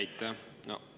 Aitäh!